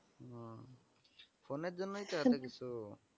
হম phone এর জন্যেই তো এত কিছু।